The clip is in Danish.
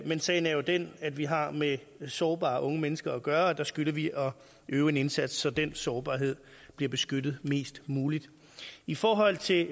men sagen er jo den at vi har med sårbare unge mennesker at gøre og der skylder vi at øve en indsats så den sårbarhed bliver beskyttet mest muligt i forhold til